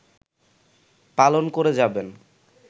পালন করে যাবেন